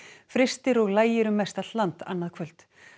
frystir og lægir um mestallt land annað kvöld